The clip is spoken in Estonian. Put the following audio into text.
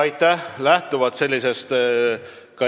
Aitäh!